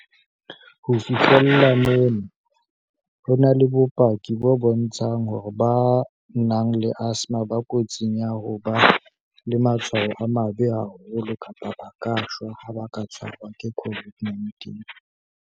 "Ho fihlela mona, ho na le bopaki bo bontshang hore ba nang le asthma ba kotsing ya ho ba le matshwao a mabe haholo kapa ba ka shwa haeba ba ka tshwarwa ke COVID-19."